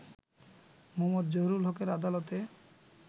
মো. জহুরুল হকের আদালতে